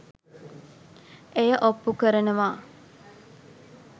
එය ඔප්පු කරනවා.